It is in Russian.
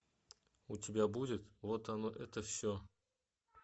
у тебя будет вот оно это все